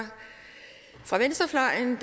fra venstrefløjen